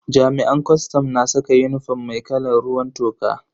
Jami'an kwastam na saka unifom mai kalan ruwan toka.